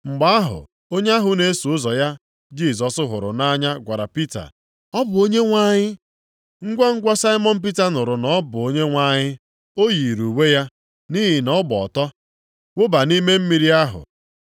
Mgbe ahụ onye ahụ na-eso ụzọ ya Jisọs hụrụ nʼanya gwara Pita, “Ọ bụ Onyenwe anyị!” Ngwangwa Saimọn Pita nụrụ na “ọ bụ Onyenwe anyị,” ọ yiiri uwe ya (nʼihi na ọ gba ọtọ), wụba nʼime mmiri ahụ.